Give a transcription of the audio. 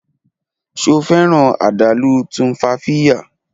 Ṣe o fẹran adalu Tumfafiya